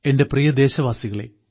എന്റെ പ്രിയ ദേശവാസികളേ